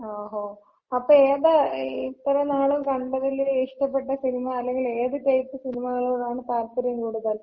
ഓഹോ, അപ്പൊ ഏതാ ഇത്രയും നാളും കണ്ടതില് ഇഷ്ടപ്പെട്ട സിനിമ? അല്ലെങ്കില് ഏത് ടൈപ്പ് സിനിമകളോടാണ് താൽപര്യം കൂടുതൽ?